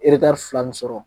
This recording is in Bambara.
fila nin sɔrɔ